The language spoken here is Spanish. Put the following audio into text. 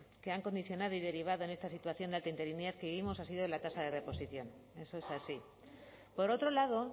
que han condicionado y derivado en esta situación de alta interinidad que vivimos ha sido la tasa de reposición eso es así por otro lado